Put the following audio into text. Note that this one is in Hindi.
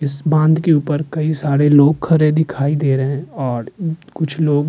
इस बाँध के ऊपर कई सारे लोग खड़े दिखाई दे रहे हैं और कुछ लोग --